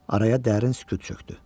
Araya dərin sükut çökdü.